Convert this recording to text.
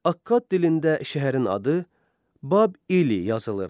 Akadd dilində şəhərin adı Bab-Ili yazılırdı.